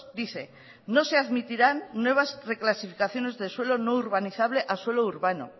dice no se admitirán nuevas reclasificaciones de suelo no urbanizable a suelo urbano